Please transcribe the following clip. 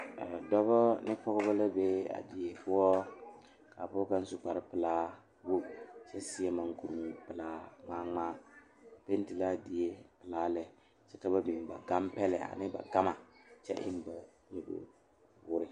Noba la a kyɛne bamine de la wiɛ a yeere yeere baagre kaŋa soba meŋ e la gbɛre a zeŋ gbɛre saakere poɔ kyɛ kaa kaŋa soba paŋ daare o ,o meŋ yeere la baagi o puori.